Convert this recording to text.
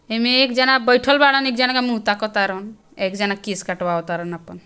हिमे एक जना बैठल वाड़ा अने एक जना मुँह ताकत बा एक जना केश कटवा तरन ।